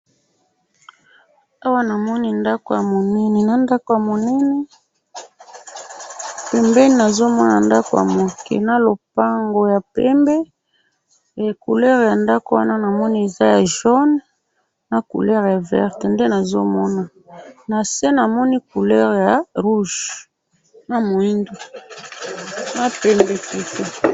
Na moni ndalo munene na langi ya motane na pembe, na ndako ya muke na langi ya mai ya pondu, na pavement ya motane.